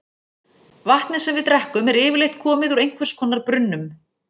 Vatnið sem við drekkum er yfirleitt komið úr einhvers konar brunnum.